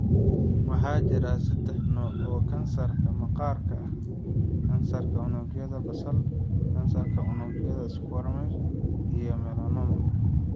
Waxaa jira saddex nooc oo kansarka maqaarka ah: Kansarka unugyada basal, kansarka unugyada squamous, iyo melanoma.